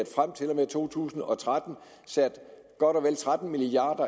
frem til to tusind og tretten sat godt og vel tretten milliard